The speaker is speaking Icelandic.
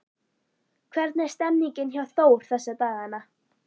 Hvernig er stemningin hjá Þór þessa dagana?